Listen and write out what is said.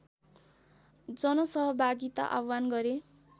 जनसहभागिता आव्हान गरे